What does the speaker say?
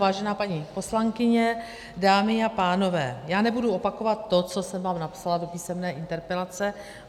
Vážená paní poslankyně, dámy a pánové, já nebudu opakovat to, co jsem vám napsala do písemné interpelace.